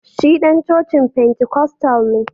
Shi dan cocin Pentikostal ne